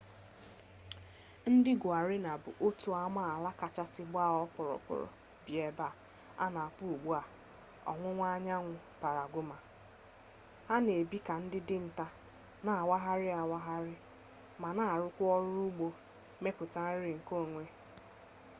ndị guarani bụ otu amaala kachasị gbaa ọkpụrụkpụrụ bi n'eba a na-akpọ ugbua ọwụwaanyanwụ paragụwa ha na-ebi ka ndị dinta na-awagharị awagharị ma na-arụkwa ọrụ ugbo mmepụta nri nke onwe